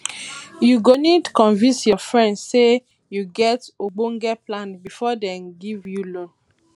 you go need to convince your friends sey you get ogbonge plan before dem give you loan